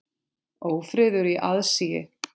Ófriður í aðsigi.